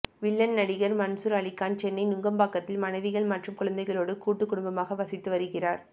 villain நடிகர் மன்சூர் அலிகான் சென்னை நுங்கம்பாக்கத்தில் மனைவிகள் மற்றும் குழந்தைகளோடு கூட்டுக் குடும்பமாக வசித்துவருகிறார்